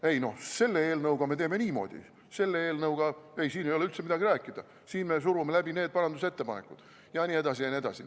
Ei noh, selle eelnõuga me teeme niimoodi, selle eelnõuga, ei, siin ei ole üldse midagi rääkida, siin me surume läbi need parandusettepanekud jne, jne.